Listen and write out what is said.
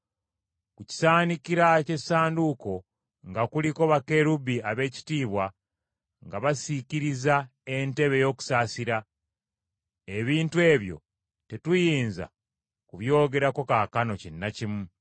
Ku kisaanikira ky’essanduuko nga kuliko bakerubbi ab’ekitiibwa nga basiikirizza entebe ey’okusaasira; ebintu ebyo tetuyinza kubyogerako kaakano kinnakimu.